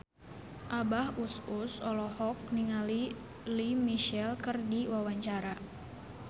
Abah Us Us olohok ningali Lea Michele keur diwawancara